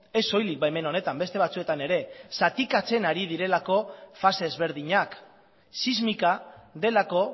ez soilik baimen honetan beste batzuetan ere zatikatzen ari direlako fase ezberdinak sismika delako